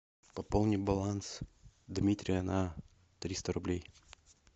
пополни баланс дмитрия на триста рублей